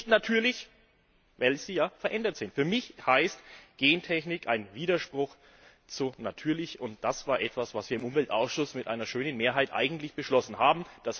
und das ist nicht natürlich, weil sie ja verändert sind. Für mich heißt Gentechnik ein Widerspruch zu natürlich. Das war etwas, was wir im Umweltausschuss mit einer schönen Mehrheit eigentlich beschlossen haben.